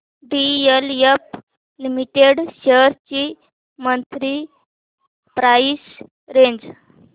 DLF limited shares ची monthly price range